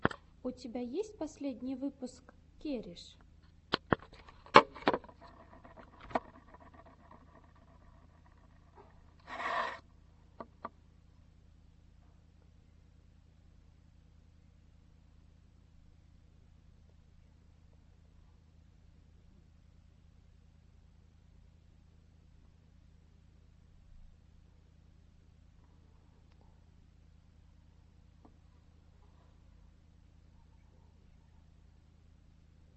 у тебя есть последний выпуск кереш